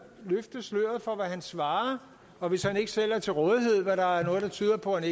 løfte sløret for hvad han svarer og hvis han ikke selv er til rådighed hvad der er noget der tyder på at